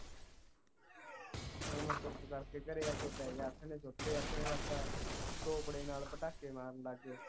ਫਿਰ ਮੈਂ ਚੁੱਪ ਕਰਕੇ ਘਰੇ ਆ ਕੇ ਬਹਿ ਗਯਾ ਮਸਾਂ ਨਾਲ ਪਟਾਕੇ ਮਾਰਨ ਲਗ ਗਏ